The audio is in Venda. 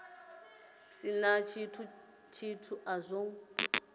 si na tshithu a zwo